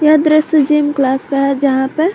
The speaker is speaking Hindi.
यह दृश्य जिम क्लास का है यहां पर--